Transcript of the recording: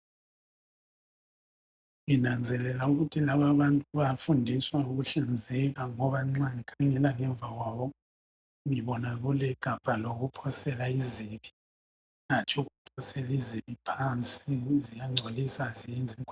Nginanzelela ukuthi laba abantu bayafundiswa ngokuhlanzeka .Ngoba nxa ngikhangela ngemva kwabo ,ngibona kulegabha lokuphosela izibi .Hatshi ukuphosela izibi phansi ,ziyangcolisa aziyenzi